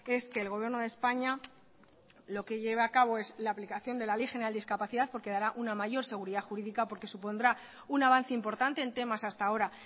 es que el gobierno de españa lo que lleve a cabo es la aplicación de la ley general de discapacidad porque dará una mayor seguridad jurídica porque supondrá un avance importante en temas hasta ahora